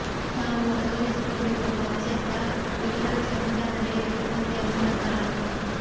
ನಾವು ಅಳವಡಿಸಿಕೊಂಡಿರುವ ಪಾಶ್ಚಾತ್ಯ ಲಿಬರಲ್ ಸಂವಿಧಾನವೇ ಈ ಸಮಸ್ಯೆಯ ಮೂಲ ಕಾರಣ